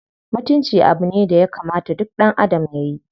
Mutunci abu ne daya kamata duk ɗanadam yayi.